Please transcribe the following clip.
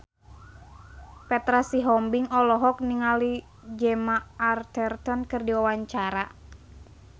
Petra Sihombing olohok ningali Gemma Arterton keur diwawancara